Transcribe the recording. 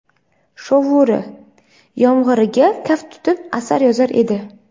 shovuri — yomg‘iriga kaft tutib asar yozar edi.